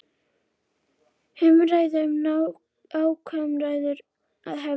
Umræða um ákærur að hefjast